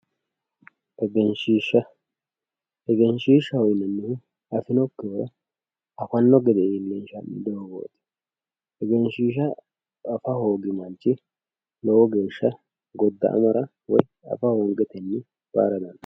Egenshshiishsha, Egenshshiishsha yineemmohu afinokkihura afanno gede iillinshanni doogoti. Egenshshiishsha afa hoogino manchi lowo geeshsha godda'amara afa hoongetenni reeyaara dandaa.